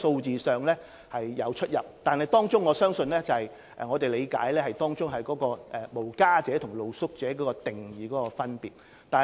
這些統計與當局的數字有出入，據我理解是因為"無家者"和"露宿者"在定義上有分別。